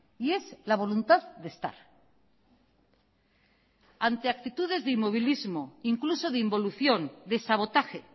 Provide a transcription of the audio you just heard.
y es la voluntad de estar ante actitudes de inmovilismo e incluso de involución de sabotaje